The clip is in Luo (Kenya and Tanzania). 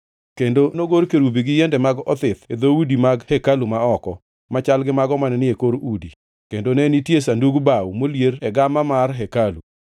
Kendo nogor kerubi gi yiende mag othith e dhoudi mag hekalu ma oko, machal gi mago mane ni e kor udi, kendo ne nitie sandug bao molier e gama mar hekalu.